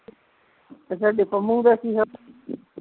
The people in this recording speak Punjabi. ਤੇ ਤੁਹਾਡੀ ਪੰਮੂ ਦਾ ਕੀ ਹਾਲ